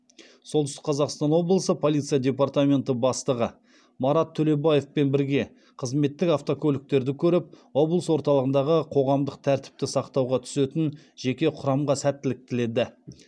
солтүстік қазақстан облысы полиция департаменті бастығы марат төлебаевпен бірге қызметтік автокөліктерді көріп облыс орталығындағы қоғамдық тәртіпті сақтауға түсетін жеке құрамға сәттілік тіледі